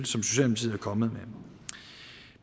som socialdemokratiet er kommet